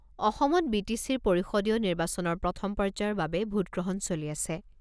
অসমত B T চিৰ পৰিষদীয় নিৰ্বাচনৰ প্ৰথম পৰ্যায়ৰ বাবে ভোটগ্ৰহণ চলি আছে।